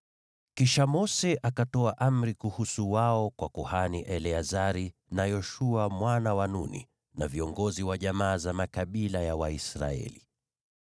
Kisha Mose akatoa amri kuhusu wao kwa kuhani Eleazari, na Yoshua mwana wa Nuni na viongozi wa jamaa za makabila ya Waisraeli.